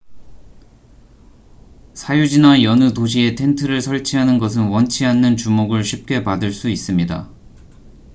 사유지나 여느 도시에 텐트를 설치하는 것은 원치 않는 주목을 쉽게 받을 수 있습니다